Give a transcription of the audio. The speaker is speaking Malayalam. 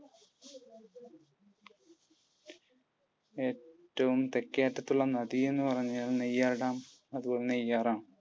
ഏറ്റവും തെക്കേ അറ്റത്തുള്ള നദി എന്ന് പറഞ്ഞാൽ നെയ്യാർ ഡാം. അതുപോലെതന്നെ നെയ്യാർ ആണ്.